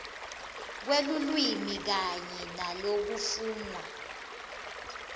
kwelulwimi kanye nalokufunwa